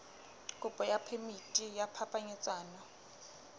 kopo ya phemiti ya phapanyetsano